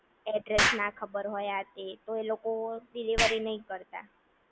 address ના ખબર હોય આ તે એ લોકો ડિલિવરી નહિ કરતા